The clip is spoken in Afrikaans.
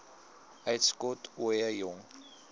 uitskot ooie jong